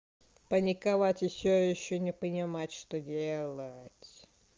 паниковать ещё ещё не понимать что делать